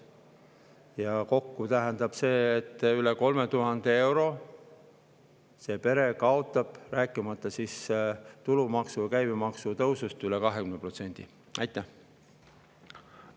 Ja see tähendab, et kokku üle 3000 euro see pere kaotab, rääkimata tulumaksu ja käibemaksu tõusust üle 20%.